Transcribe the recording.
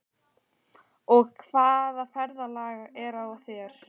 Og hvaða ferðalag er á þér?